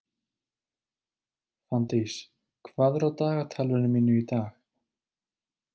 Fanndís, hvað er á dagatalinu mínu í dag?